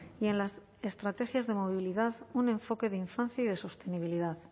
y en las estrategias de movilidad un enfoque de infancia y de sostenibilidad